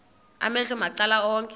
amehlo macala onke